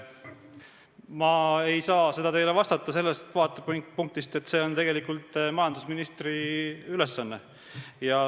Ma ei saa seda teile vastata sellest vaatepunktist, see on tegelikult majandusministri ülesanne.